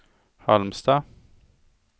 Halmstad